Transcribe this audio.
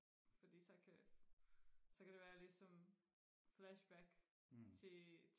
fordi så kan så kan det være ligesom flashback til